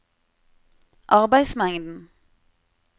arbeidsmengden